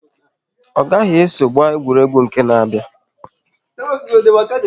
Ọ gaghị eso gba egwuregwu nke n'abia na ihu!